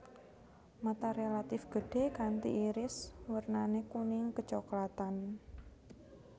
Mata relatif gedhé kanti iris wernané kuning kecoklatan